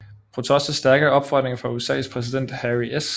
På trods af stærke opfordringer fra USAs præsident Harry S